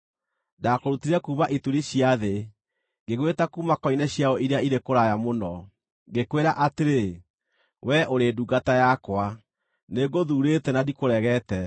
ndakũrutire kuuma ituri cia thĩ, ngĩgwĩta kuuma koine ciayo iria irĩ kũraya mũno. Ngĩkwĩra atĩrĩ, ‘Wee ũrĩ ndungata yakwa;’ nĩngũthuurĩte na ndikũregete.